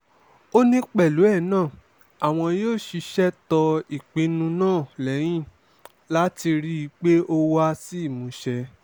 ó ní pẹ̀lú ẹ̀ náà àwọn yóò ṣiṣẹ́ tó ìpinnu náà lẹ́yìn láti rí i pé ó wá sí ìmúṣẹ